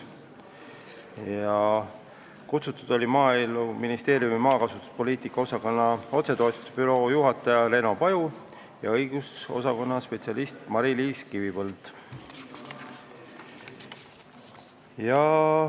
Kohale olid kutsutud ka Maaeluministeeriumi maakasutuspoliitika osakonna otsetoetuste büroo juhataja Reno Paju ja õigusosakonna peaspetsialist Mari-Liis Kivipõld.